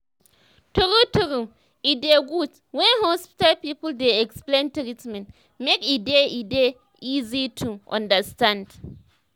true true e dey good when hospital people dey explain treatment make e dey e dey easy to understand